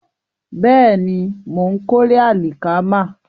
Bẹ́ẹ̀ni, mò ń kórè àlìkámà